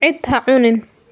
Ciid ha cunin.